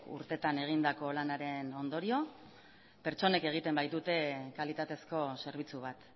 urtetan egindako lanaren ondorio pertsonek egiten baitute kalitatezko zerbitzu bat